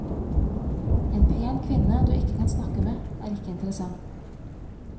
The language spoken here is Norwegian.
En pen kvinne du ikke kan snakke med, er ikke interessant.